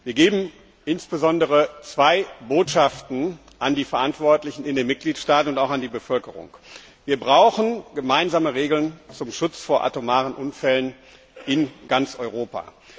Wir geben insbesondere zwei Botschaften an die Verantwortlichen in den Mitgliedstaaten und auch an die Bevölkerung Wir brauchen gemeinsame Regeln zum Schutz vor atomaren Unfällen in ganz Europa.